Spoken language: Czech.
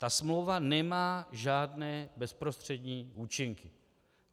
Ta smlouva nemá žádné bezprostřední účinky.